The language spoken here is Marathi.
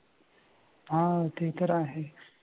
हां ते तर आहे.